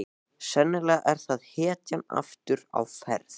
Sennilega er það hetjan aftur á ferð.